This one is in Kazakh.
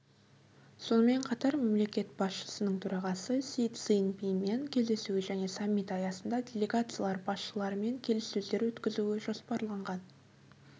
сонымен қатар мемлекет басшысының төрағасы си цзиньпинмен кездесуі және саммит аясында делегациялар басшыларымен келіссөздер өткізуі жоспарланған